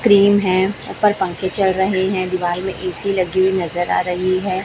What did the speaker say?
Cream है ऊपर पंखे चल रहे हैं दीवाल मे ए_सी लगी हुई नजर आ रही है।